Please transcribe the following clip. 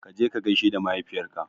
Kaje ka gaishe da mahaifiyar ka